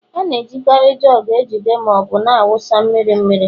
A na-ejikarị jugu ejide ma ọ bụ na-awụsa mmiri mmiri.